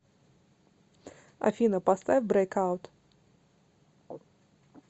афина поставь брейк аут